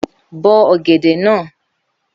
Bó ọ̀gẹ̀dẹ̀ náà!